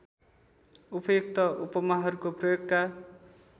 उपयुक्त उपमाहरूको प्रयोगका